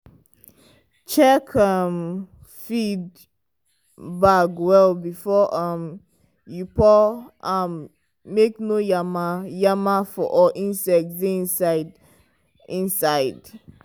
check um feed bag well before um you pour am make no yama-yama or insect dey inside. inside.